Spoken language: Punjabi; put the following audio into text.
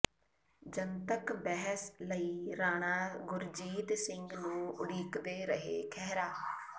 ਜਨਤਕ ਬਹਿਸ ਲਈ ਰਾਣਾ ਗੁਰਜੀਤ ਸਿੰਘ ਨੂੰ ਉਡੀਕਦੇ ਰਹੇ ਖਹਿਰਾ